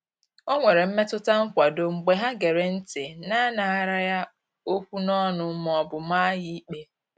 O nwere mmetụta nkwado mgbe ha gere ntị na-anaghara ya okwu n'ọnụ ma ọ bụ maa ya ikpe.